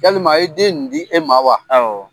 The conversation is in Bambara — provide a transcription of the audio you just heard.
Yalima a ye den ni di e ma wa? Awɔ.